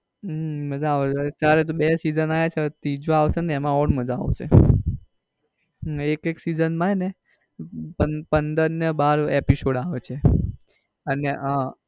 હમ માજા આવે છે અત્યારે તો બે season આવ્યા છે હવે ત્રીજો આવશે એમાં or માજા આવશે ને એક એક season માં પંદ પંદર and બાર episode આવે છે અને અ